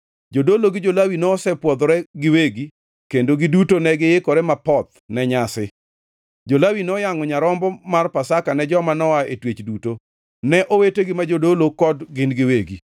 Jodolo gi jo-Lawi nosepwodhore giwegi kendo giduto negiikore mapoth ne nyasi. Jo-Lawi noyangʼo nyarombo mar Pasaka ne joma noa e twech duto, ne owetegi ma jodolo kod gin giwegi.